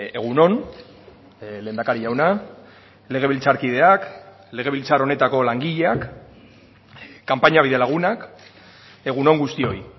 egun on lehendakari jauna legebiltzarkideak legebiltzar honetako langileak kanpaina bidelagunak egun on guztioi